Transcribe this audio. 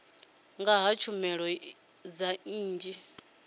nga ha tshumelo dza nnyi